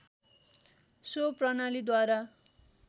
so प्रणालीद्वारा